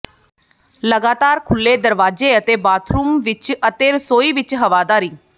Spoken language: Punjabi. ਲਗਾਤਾਰ ਖੁੱਲ੍ਹੇ ਦਰਵਾਜ਼ੇ ਅਤੇ ਬਾਥਰੂਮ ਵਿੱਚ ਅਤੇ ਰਸੋਈ ਵਿੱਚ ਹਵਾਦਾਰੀ